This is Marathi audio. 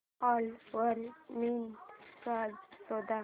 ओला वर मिनी फ्रीज शोध